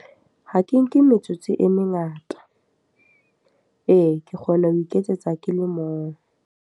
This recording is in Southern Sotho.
Ha ke nke metsotso e mengata. Ee, ke kgona ho iketsetsa ke le mong.